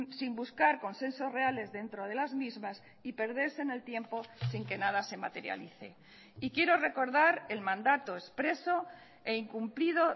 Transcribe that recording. sin buscar consensos reales dentro de las mismas y perderse en el tiempo sin que nada se materialice y quiero recordar el mandato expreso e incumplido